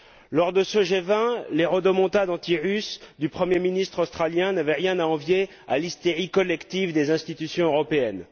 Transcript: Lors de ce G20, les rodomontades antirusses du premier ministre australien n'avaient rien à envier à l'hystérie collective des institutions européennes.